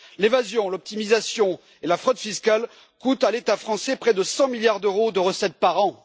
L'évasion, l'optimisation et la fraude fiscales coûtent à l'État français près de 100 milliards d'euros de recettes par an.